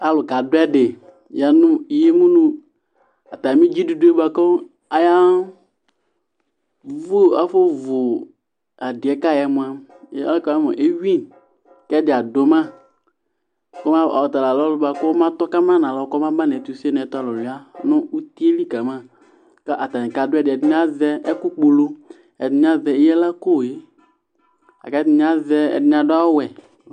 alʊ kadʊɛdɩ ya nʊ imʊ nʊ dzidudue bʊakʊ ayafʊovu adɩɛkayɩɛ mʊa evui kɛdɩ adʊ ma ɔtalanʊ ɔlʊɛ ɔtalanʊ ɔlʊɛ bʊakʊ ɔmatɔkama nalɔ kɔmaba nʊ ɛtʊse nʊ ɛtʊlʊlʊia nʊ utiyɛlikama ta atanɩ kadʊɛdɩ ɛdɩnɩ azɛ ɛkʊkpulu ɛdɩnɩazɛ ɩlakoe la kʊ ɛdɩnɩ adʊ awʊ wɛ